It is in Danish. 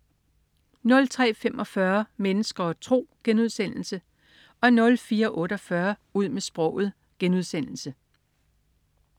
03.45 Mennesker og tro* 04.48 Ud med sproget*